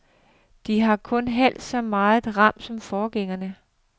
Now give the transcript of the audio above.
De har kun halvt så meget ram som forgængerne.